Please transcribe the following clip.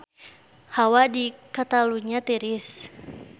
Hawa di Catalunya tiris